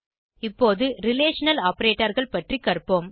இப்போது ரிலேஷனல் Operatorகள் பற்றி கற்போம்